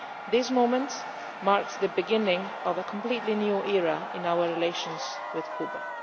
This moment marks the beginning of a completely new era in our relations with Cuba.